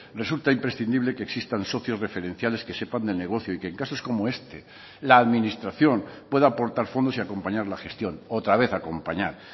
resulta imprescindible que existan socios referenciales que sepan del negocio y que en casos como este la administración pueda aportar fondos y acompañar la gestión otra vez acompañar